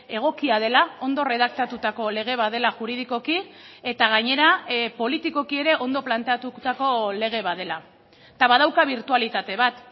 egokia dela ondo erredaktatutako lege bat dela juridikoki eta gainera politikoki ere ondo planteatutako lege bat dela eta badauka birtualitate bat